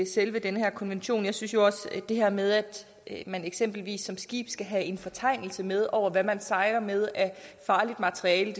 selve den her konvention jeg synes også at det her med at man eksempelvis som skib skal have en fortegnelse med over hvad man sejler med af farligt materiale